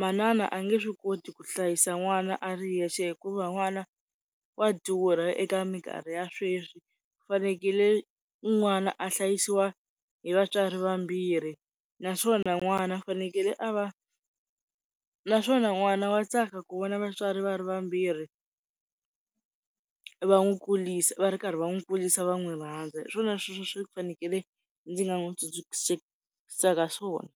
manana a nge swi koti ku hlayisa n'wana a ri yexe hikuva n'wana wa durha eka minkarhi ya sweswi, ku fanekele n'wana a hlayisiwa hi vatswari vambirhi naswona n'wana i fanekele a va, naswona n'wana wa tsaka ku vona vatswari va ri vambirhi va n'wi kurisa va ri karhi va n'wi kurisa va n'wi rhandza hiswona swi fanekele ndzi nga n'wi tsundzuxisaka swona.